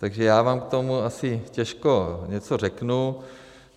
Takže já vám k tomu asi těžko něco řeknu.